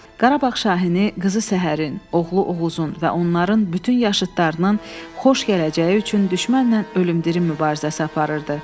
Qarabağ Şahini qızı Səhərin, oğlu Oğuzun və onların bütün yaşıdlarının xoş gələcəyi üçün düşmənlə ölüm-dirim mübarizəsi aparırdı.